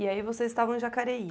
E aí vocês estavam em Jacareí.